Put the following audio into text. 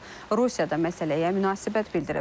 Rusiyada məsələyə münasibət bildirib.